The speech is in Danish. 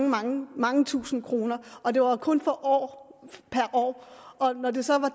mange mange tusinde kroner og det var kun per år og når det så var